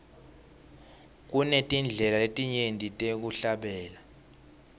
kunetindlela letinyenti tekuhlabela